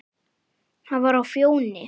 Hann var á Fjóni.